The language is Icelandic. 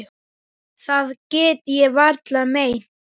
Það get ég varla meint.